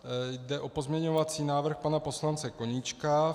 Jde o pozměňovací návrh pana poslance Koníčka.